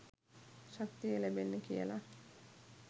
ශක්තිය ලැබෙන්න කියල.